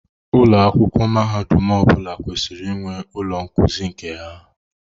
Ụlọ akwụkwọ mahadum ọ bụla kwesịrị inwe ụlọ nkuzi nke ha.